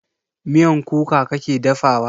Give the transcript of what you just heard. Miyan kuka kake dafa wa?